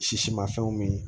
Sisi ma fɛnw min